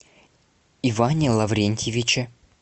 иване лаврентьевиче